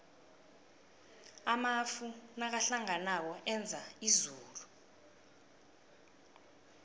amafu nakahlanganako enza izulu